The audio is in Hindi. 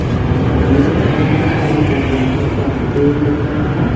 यहां सामने के साइड में एक अध्यापक पढ़ाते हुए नजर आ रहे हैं।